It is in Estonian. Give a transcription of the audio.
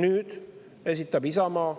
Nüüd esitab Isamaa